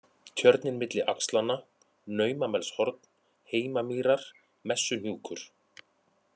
Tjörnin milli axlanna, Naumamelshorn, Heimamýrar, Messuhnjúkur